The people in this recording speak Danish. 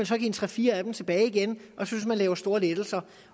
så give en tre fire af dem tilbage igen og synes man laver store lettelser